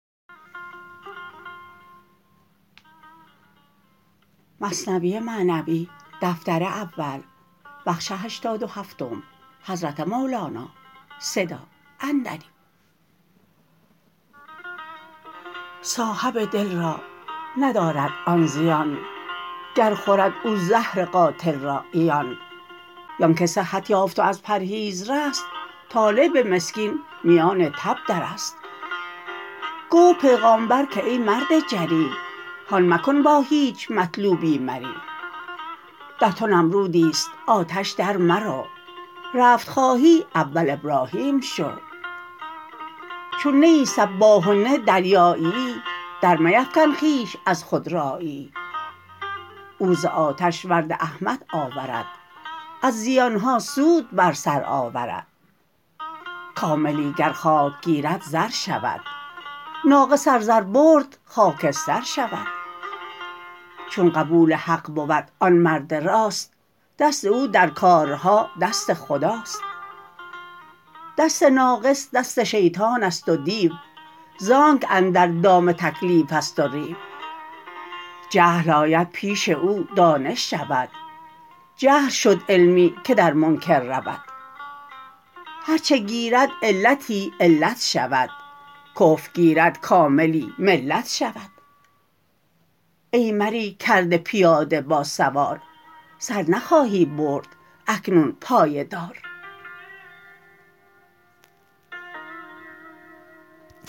صاحب دل را ندارد آن زیان گر خورد او زهر قاتل را عیان زانک صحت یافت و از پرهیز رست طالب مسکین میان تب درست گفت پیغامبر که ای مرد جری هان مکن با هیچ مطلوبی مری در تو نمرودیست آتش در مرو رفت خواهی اول ابراهیم شو چون نه ای سباح و نه دریاییی در میفکن خویش از خودراییی او ز آتش ورد احمر آورد از زیانها سود بر سر آورد کاملی گر خاک گیرد زر شود ناقص ار زر برد خاکستر شود چون قبول حق بود آن مرد راست دست او در کارها دست خداست دست ناقص دست شیطانست و دیو زانک اندر دام تکلیفست و ریو جهل آید پیش او دانش شود جهل شد علمی که در منکر رود هرچه گیرد علتی علت شود کفر گیرد کاملی ملت شود ای مری کرده پیاده با سوار سر نخواهی برد اکنون پای دار